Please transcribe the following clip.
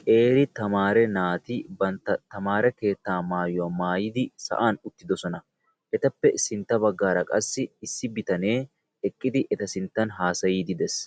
Qeeri tamaaree naati bantta tamaaree keettaa maayuwa maayidi sa'an uttiddossona. Etappe sintta baggaara qassi issi bitanne eqqidi eta sinttan haasayidi dees.